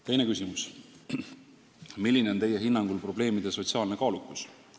Teine küsimus: "Milline on Teie hinnangul probleemide sotsiaalne kaalukus?